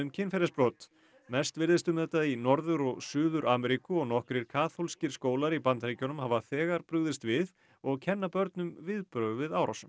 kynferðisbrot mest virðist um þetta í Norður og Suður Ameríku og nokkrir kaþólskir skólar í Bandaríkjunum hafa þegar brugðist við og kenna börnum viðbrögð við árásum